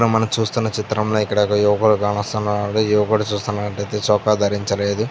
మనం చూస్తున్న చిత్రంలో ఇక్కడ ఒక యువకుడు కానొస్తున్నాడు. యువకుడు చూసినట్లయితే చొక్కా ధరించ లేదు.